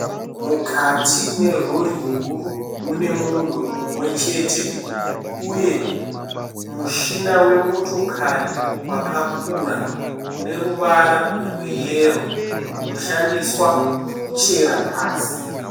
Mukati merori huru mune munhu mumwe chete uye mushina we motokari rwakakura une ruvara rweyero rwunoshandiswa kuchera pasi.